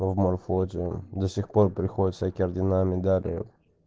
ну в морфлоте до сих пор приходят всякие ордена медали